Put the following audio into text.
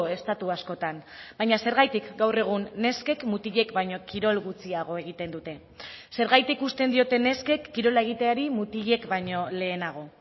estatu askotan baina zergatik gaur egun neskek mutilek baino kirol gutxiago egiten dute zergatik uzten diote neskek kirola egiteari mutilek baino lehenago